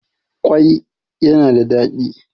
kwai yana da dadi